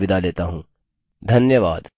धन्यवाद